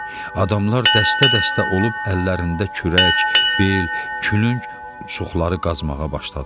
Adamlar dəstə-dəstə olub əllərində kürək, bel, külünc, uçuxları qazmağa başladılar.